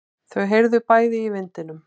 Þau heyrðu bæði í vindinum.